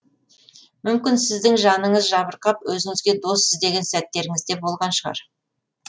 мүмкін сіздің жаныңыз жабырқап өзіңізге дос іздеген сәттеріңіз де болған шығар